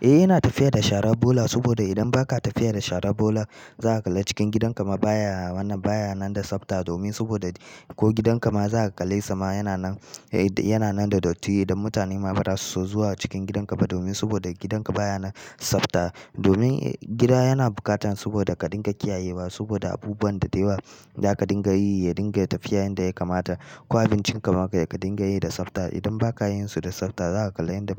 Eh, yana tafiya da shara bola saboda idan ba ka tafiya da shara bola, za a kalla cikin gidanka ma baya nan, baya nan da tsafta domin saboda ko gidanka ma za a kalle sama yana nan, eh yana nan da datti. Idan mutane ma ba za su so zuwa cikin gidanka ba domin saboda gidanka baya nan tsafta. Domin gida yana bukatan saboda ka dinga kiyayewa saboda abubuwan da deyawa za ka dinga yi, ya dinga tafiya yanda ya kamata. Ko abincinka ma ka dinga yi da tsafta. Idan ba ka yin su da tsafta, za a kalla inda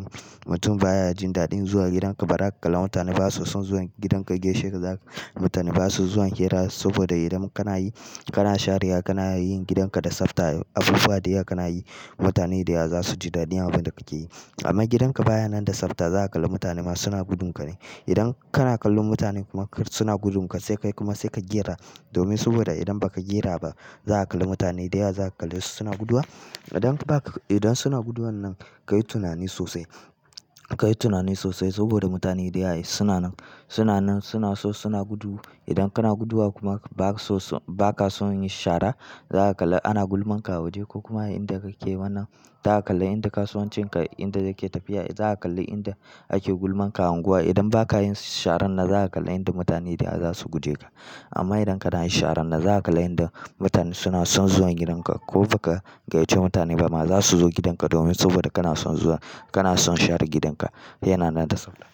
mutum baya jin daɗin zuwa gidanka. Bara ka kalla mutane ba su son zuwa gidanka geshe ka za ka-- mutane ba su zuwa hira saboda idan kana yi, kana sharewa, kana yin gidanka da tsafta, abubuwa dayawa kana yi, mutane da yawa za su ji daɗin abin da kake yi. Amma gidanka baya nan da tsafta, za a kalla mutane ma suna gudunka ne. Idan kana kallon mutane kuma suna gudunka, sai kai kuma sai ka gera domin saboda idan ba ka gera ba, za a kalli mutane da yawa za ka kalle su suna guduwa. Idan ba ka, idan suna guduwan nan, ka yi tunani sosai. Ka yi tunani sosai saboda mutane da yawa suna nan, suna nan, suna so suna gudu. Idan kana guduwa kuma ba ka so, ba ka son yin shara, za a kalla ana gulman ka a waje ko kuma a inda kake wannan, za a kalla inde kasuwan cinka inde yake tafiya, za a kalli inda ake gulman ka unguwa. Idan ba ka yin sharan na, za a kalla inda mutane da yawa za su guje ka. Amma idan kana yin sharan nan, za a kalla inda mutane suna son zuwa gidanka ko ba ka gayyace mutane ba ma, za su zo gidanka domin saboda kana son zuwa, kana son share gidanka yana nan da tsafta.